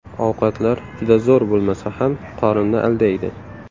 Ovqatlar juda zo‘r bo‘lmasa ham, qorinni aldaydi.